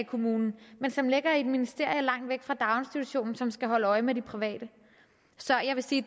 i kommunen men som ligger i et ministerie langt væk fra daginstitutionerne som skal holde øje med de private så jeg vil sige